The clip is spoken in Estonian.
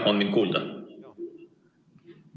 Kas mind on kuulda?